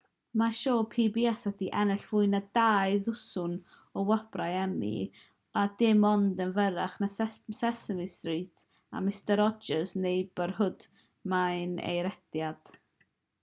mae'r sioe pbs wedi ennill fwy na dau ddwsin o wobrau emmy a dim ond yn fyrrach na sesame street a mister rogers' neighborhood mae ei rhediad